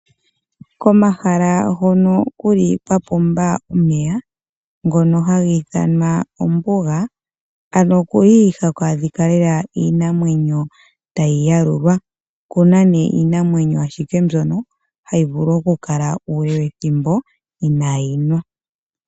Komahala hono kuli kwapumbwa omeya ngono haga ithanwa ombuga ano okuli haku adhika Lela iinamwenyo tayi yalulwa okuna nee iinamwenyo ashike mbyono hayi vulu oku kala uule wethimbo inaayinwa.